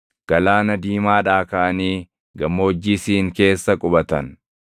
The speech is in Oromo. Galaana Diimaadhaa kaʼanii Gammoojjii Siin keessa qubatan.